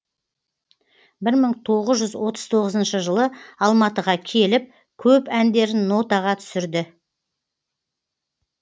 бір мың тоғыз жүз отыз тоғызыншы жылы алматыға келіп көп әндерін нотаға түсірді